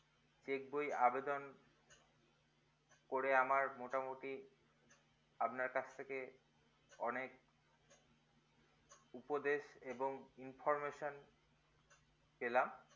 check বই আবেদন করে আমার মোটামোটি আপনার কাছ থেকে অনেক উপদেশ এবং information পেলাম